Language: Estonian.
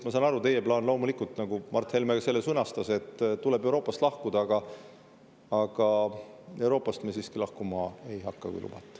Ma saan aru, et teie plaan, nagu Mart Helme selle sõnastas, on Euroopast lahkuda, aga Euroopast me siiski lahkuma ei hakka, kui lubate.